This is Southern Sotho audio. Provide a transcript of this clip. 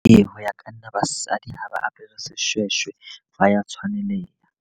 Ee, ho ya ka nna basadi ha ba apere seshweshwe ba ya tshwaneleha.